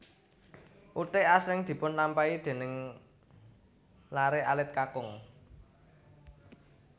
Uthik asring dipunlampahi déning laré alit kakung